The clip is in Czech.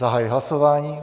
Zahajuji hlasování.